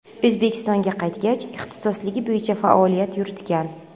O‘zbekistonga qaytgach, ixtisosligi bo‘yicha faoliyat yuritgan.